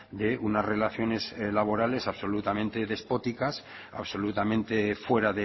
de unas relaciones laborales absolutamente despóticas absolutamente fuera